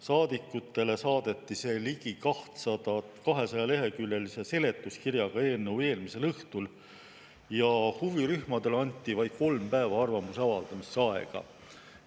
Saadikutele saadeti see ligi 200‑leheküljelise seletuskirjaga eelnõu eelmisel õhtul ja huvirühmadele anti vaid kolm päeva arvamuse avaldamiseks aega.